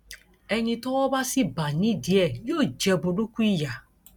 ẹni tọwọ bá sì bá nídìí ẹ yóò jẹ burúkú ìyà